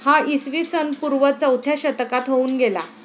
हा इसवी सनपूर्व चौथ्या शतकात होऊन गेला.